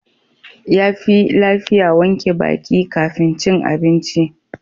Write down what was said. Yafi lafiya wanke baki kafin cin abinci.